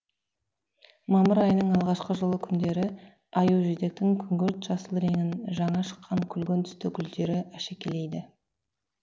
мамыр айының алғашқы жылы күндері аюжидектің күңгірт жасыл реңін жаңа шыққан күлгін түсті гүлдері әшекейлейді